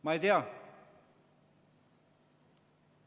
Ma ei tea.